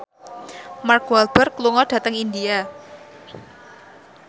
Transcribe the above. Mark Walberg lunga dhateng India